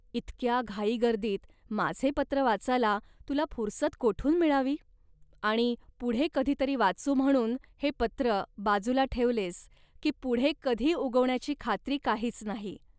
इतक्या घाईगर्दीत माझे पत्र वाचायला तुला फुरसत कोठून मिळावी. आणि 'पुढे कधी तरी वाचू' म्हणून हे पत्र बाजूला ठेवलेस, की 'पुढे' कधी उगवण्याची खात्री काहीच नाही